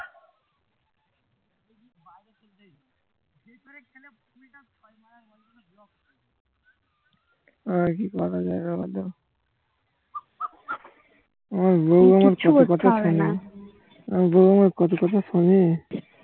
আর কি করা যাবে আমার বৌ আমার কত কথা শুনে